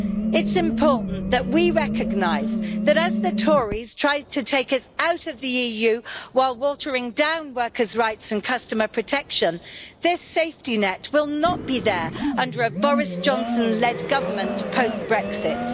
It's important that we recognise that as the Tories try to take us out of the EU while watering down workers' rights and customer protection, this safety net will not be there under a Boris Johnson led government post Brexit.